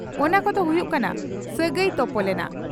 ᱚᱱᱟ ᱠᱚᱫᱚ ᱦᱩᱭᱩᱜ ᱠᱟᱱᱟ ᱺᱼ ᱥᱟᱹᱜᱟᱹᱭ ᱛᱚᱯᱚᱞ ᱮᱱᱟ